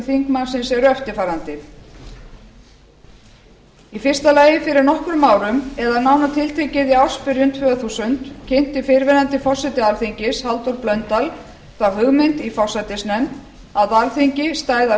þingmannsins eru eftirfarandi fyrsta fyrir nokkrum árum eða nánar tiltekið í ársbyrjun tvö þúsund kynnti fyrrverandi forseti alþingis halldór blöndal þá hugmynd í forsætisnefnd að alþingi stæði að